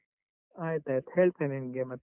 ಆಯ್ತು ಆಯ್ತು, ಹೇಳ್ತೇನೆ ನಿಂಗೆ ಮತ್ತೆ.